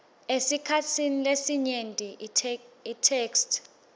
esikhatsini lesinyenti itheksthi